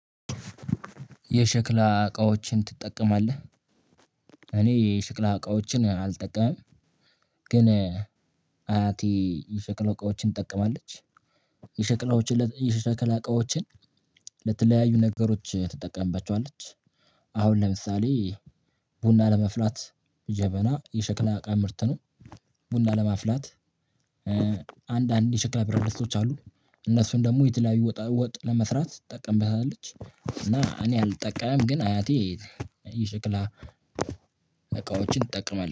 የሸክላ እቃዎችን ትጠቀማለህ? እኔ የሸክላ እቃዎችን አልጠቀምም። ግን አያቴ የሸክላ እቃዎችን ትጠቀማለች። የሸክላ እቃዎችን ለተለያዩ ነገሮች ትጠቀምበቸዋለች። አሁን ለምሳሌ ቡና ለመፍላት ጀበና የሸክላ እቃ ምርት ነው። ቡና ለማፍላት አንድ የሸክላ ፕረድስት አሉ። እነሱን ደግሞ የተለያዩ ወጣወጥ ለመስራት ትጠቀምበታለች እና እኔ አልጠቃም ግን አያቴ የ ሽክላ እቃዎችን ትጠቀማለች